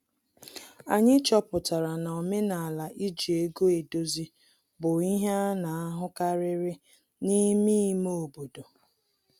Anyị chọpụtara na omenala iji ego edozi bụ ihe ana ahụkarịrị n'ime ime obodo